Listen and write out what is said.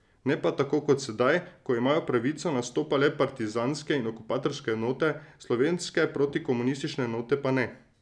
Ne pa tako kot sedaj, ko imajo pravico nastopa le partizanske in okupatorske enote, slovenske protikomunistične enote pa ne.